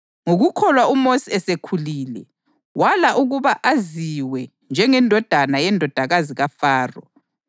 Ngokukholwa uMosi esekhulile, wala ukuba aziwe njengendodana yendodakazi kaFaro.